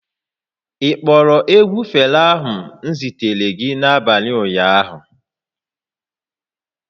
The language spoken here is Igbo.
Ị kpọrọ egwu Fela m zitere gị n'abalị ụnyaahụ?